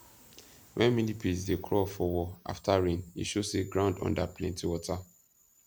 when millipedes dey crawl for wall after rain e show say ground under plenty water